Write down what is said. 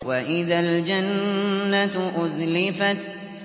وَإِذَا الْجَنَّةُ أُزْلِفَتْ